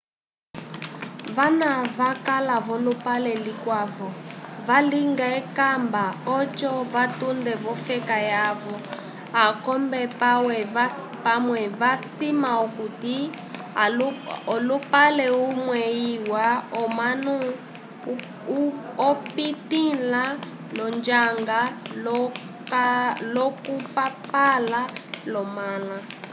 vana vakala volupale likwavo valinga ekamba oco vatunde vofeka yavo akombe pawe va sima okuti olupale umwe iwa omunu opitila lonjanga lo kupapala lo mala